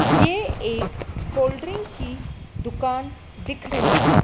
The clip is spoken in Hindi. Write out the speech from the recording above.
ये एक कोल्ड ड्रिंक की दुकान दिख रही है।